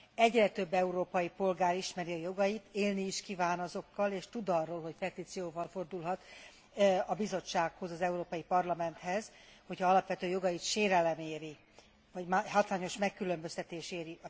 Egyre több európai polgár ismeri a jogait, élni is kíván azokkal, és tud arról, hogy petícióval fordulhat a bizottsághoz, az Európai Parlamenthez, hogyha alapvető jogait sérelem éri, hogyha hátrányos megkülönböztetés éri.